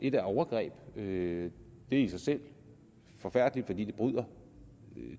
et er overgreb det er i sig selv forfærdeligt fordi det bryder